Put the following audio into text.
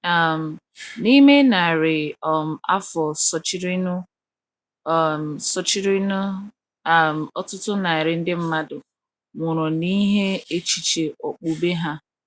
um N’ime narị um afọ sochirinụ, um sochirinụ, um ọtụtụ narị ndị mmadụ nwụrụ n’ihi echiche okpukpe ha.